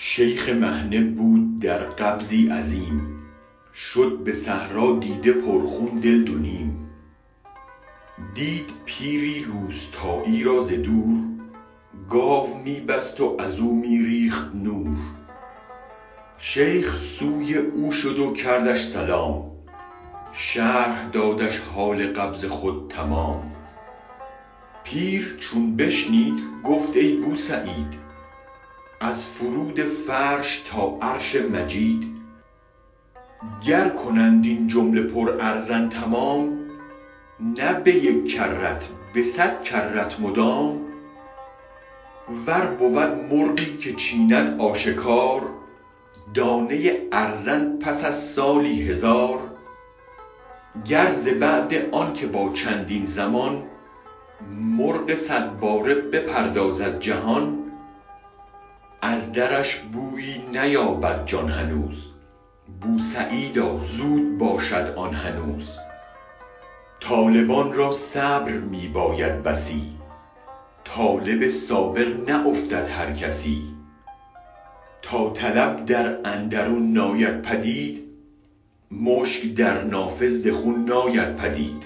شیخ مهنه بود در قبضی عظیم شد به صحرا دیده پر خون دل دو نیم دید پیری روستایی را ز دور گاو می بست و ازو می ریخت نور شیخ سوی او شد و کردش سلام شرح دادش حال قبض خود تمام پیر چون بشنید گفت ای بوسعید از فرود فرش تا عرش مجید گر کنند این جمله پر ارزن تمام نه به یک کرت به صد کرت مدام ور بود مرغی که چیند آشکار دانه ارزن پس از سالی هزار گر ز بعد آنکه با چندین زمان مرغ صد باره بپردازد جهان از درش بویی نیابد جان هنوز بو سعیدا زود باشد آن هنوز طالبان را صبر می باید بسی طالب صابر نه افتد هر کسی تا طلب در اندرون ناید پدید مشک در نافه ز خون ناید پدید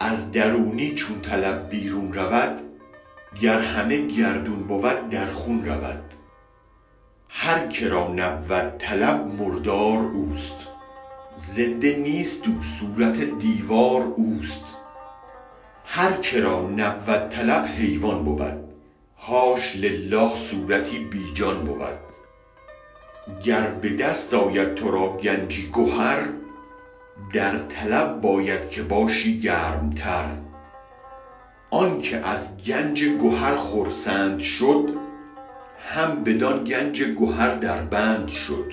از درونی چون طلب بیرون رود گر همه گردون بود در خون رود هرک را نبود طلب مردار اوست زنده نیست او صورت دیوار اوست هرکرا نبود طلب حیوان بود حاش لله صورتی بی جان بود گر به دست آید ترا گنجی گهر در طلب باید که باشی گرم تر آنک از گنج گهر خرسند شد هم بدان گنج گهر دربند شد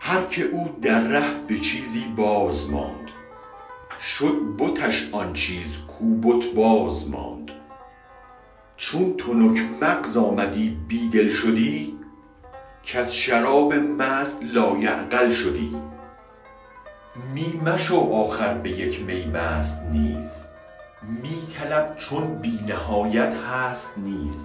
هرکه او در ره به چیزی ماند باز شد بتش آن چیز گو با بت بساز چون تنک مغز آمدی بی دل شدی کز شرابی مست لایعقل شدی می مشو آخر به یک می مست نیز می طلب چون بی نهایت هست نیز